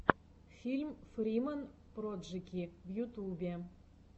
фильм фриман проджэки в ютубе